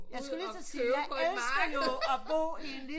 Jeg skulle lige til at sige jeg elsker jo at bo i en lille